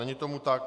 Není tomu tak.